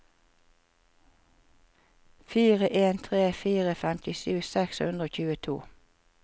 fire en tre fire femtisju seks hundre og tjueto